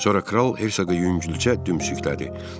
Sonra kral Hersoqu yüngülcə döyümçüklədi.